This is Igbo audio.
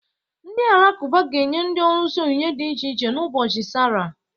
Ndị alakụba ga-enye ndị ọlụsị onyinye dị iche iche n'ụbọchị Salla.